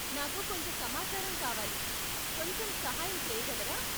నాకు కొంత సమాచారం కావాలి, కొంచెం సహాయం చేయగలరా?